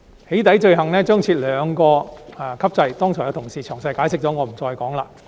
"起底"罪行將設立兩級制，剛才已有同事詳細解釋了，我便不再重複。